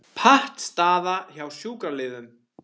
Pattstaða hjá sjúkraliðum